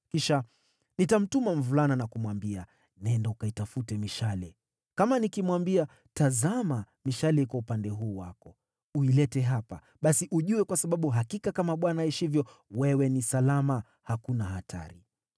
Kisha nitamtuma mvulana na kumwambia, ‘Nenda ukaitafute mishale.’ Kama nikimwambia, ‘Tazama mishale iko upande huu wako! Uilete hapa,’ basi uje, kwa sababu hakika kama Bwana aishivyo, wewe ni salama, hakuna hatari.